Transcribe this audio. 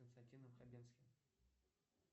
с константином хабенским